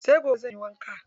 Sai gobe zanyi wanka.